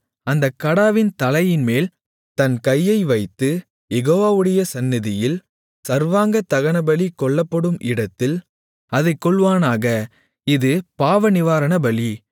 அந்தக் கடாவின் தலையின்மேல் தன் கையை வைத்து யெகோவாவுடைய சந்நிதியில் சர்வாங்கதகனபலி கொல்லப்படும் இடத்தில் அதைக் கொல்வானாக இது பாவநிவாரணபலி